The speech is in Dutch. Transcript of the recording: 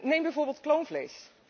Neem bijvoorbeeld kloonvlees.